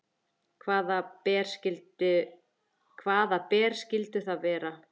Hvaða ber skyldu það vera?